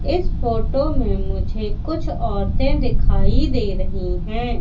इस फोटो में मुझे कुछ औरतें दिखाई दे रही हैं।